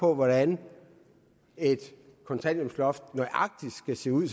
på hvordan et kontanthjælpsloft nøjagtig skal se ud